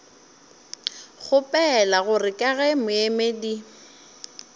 kgopela gore ka ge moemedi